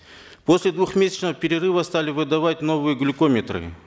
после двухмесячного перерыва стали выдавать новые глюкометры